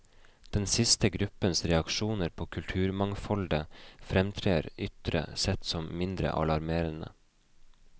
Den siste gruppens reaksjoner på kulturmangfoldet fremtrer ytre sett som mindre alarmerende.